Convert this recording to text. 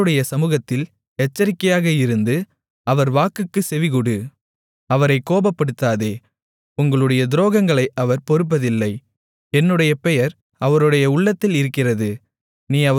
அவருடைய சமுகத்தில் எச்சரிக்கையாக இருந்து அவர் வாக்குக்குச் செவிகொடு அவரைக் கோபப்படுத்தாதே உங்களுடைய துரோகங்களை அவர் பொறுப்பதில்லை என்னுடைய பெயர் அவருடைய உள்ளத்தில் இருக்கிறது